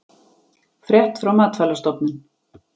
Frétt frá Matvælastofnun